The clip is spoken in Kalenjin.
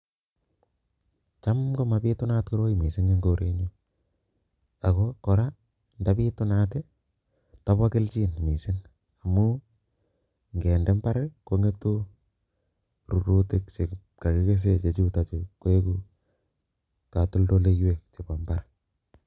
Cham komabitunat koroi mising eng korenyu ako kora ndabitunat ndabo kelchin mising amun ngende imbaar kongetu rurutik che kakiksesei che chutokchu koeku katoldoleiwek chebo imbaar.